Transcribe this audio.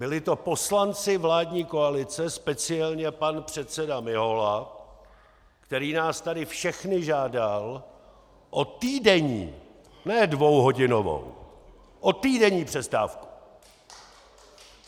Byli to poslanci vládní koalice, speciálně pan předseda Mihola, který nás tady všechny žádal o týdenní - ne dvouhodinovou, o týdenní přestávku.